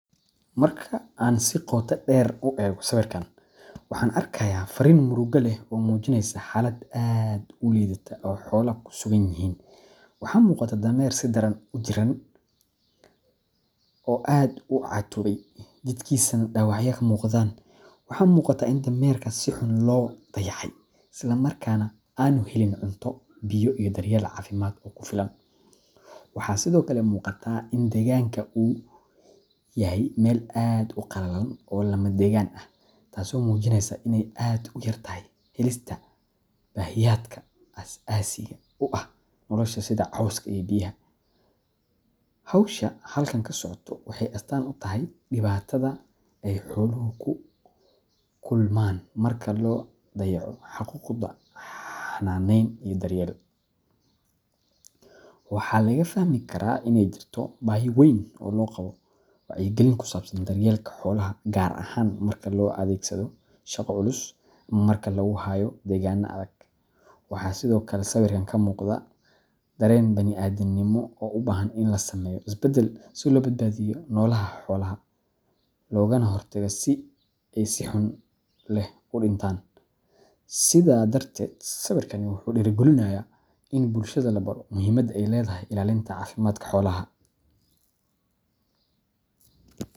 Marka aan si qoto dheer u eego sawirkan, waxaan arkayaa farriin murugo leh oo muujinaysa xaalad aad u liidata oo xoolo ku sugan yihiin. Waxaa muuqata dameer si daran u jirran oo aad u caatoobay, jidhkiisana dhaawacyo ka muuqdaan. Waxa muuqata in dameerka si xun loo dayacay, isla markaana aanu helin cunto, biyo, iyo daryeel caafimaad oo ku filan. Waxaa sidoo kale muuqata in deegaanka uu yahay meel aad u qalalan oo lama degaan ah, taasoo muujinaysa inay aad u yartahay helista baahiyaadka aas aasiga u ah nolosha sida cawska iyo biyaha. Hawsha halkan ka socota waxay astaan u tahay dhibaatada ay xooluhu la kulmaan marka la dayaco xuquuqdooda xanaaneyn iyo daryeel. Waxaa laga fahmi karaa inay jirto baahi weyn oo loo qabo wacyigelin ku saabsan daryeelka xoolaha, gaar ahaan marka loo adeegsado shaqo culus ama marka lagu hayo deegaanno adag. Waxaa sidoo kale sawirkan ka muuqda dareen bani’aadamnimo oo u baahan in la sameeyo isbeddel si loo badbaadiyo nololaha xoolaha, loogana hortago in ay si xanuun leh u dhintaan. Sidaa darteed, sawirkani wuxuu dhiirogelinayaa in bulshada la baro muhiimadda ay leedahay ilaalinta caafimaadka xoolaha.